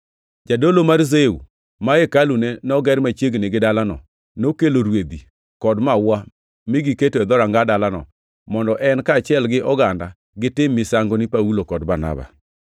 Jadolo mar Zeu, ma hekalune noger machiegni gi dalano, nokelo rwedhi kod maua mi giketo e dhoranga dalano mondo en, kaachiel gi oganda, gitim misango ni Paulo kod Barnaba.